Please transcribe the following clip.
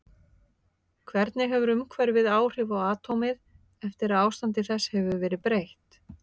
Hvernig hefur umhverfið áhrif á atómið eftir að ástandi þess hefur verið breytt?